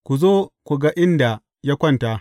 Ku zo ku ga inda ya kwanta.